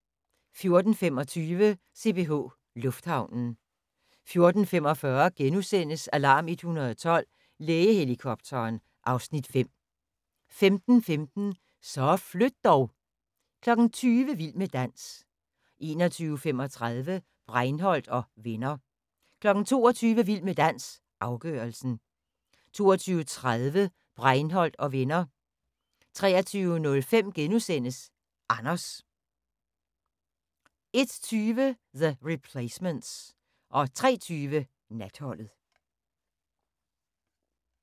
14:25: CPH Lufthavnen 14:45: Alarm 112 – Lægehelikopteren (Afs. 5)* 15:15: Så flyt dog! 20:00: Vild med dans 21:35: Breinholt & Venner 22:00: Vild med dans – afgørelsen 22:30: Breinholt & Venner 23:05: Anders * 01:20: The Replacements 03:20: Natholdet